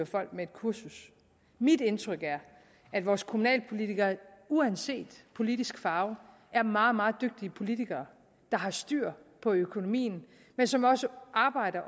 folk et kursus mit indtryk er at vores kommunalpolitikere uanset politisk farve er meget meget dygtige politikere der har styr på økonomien men som også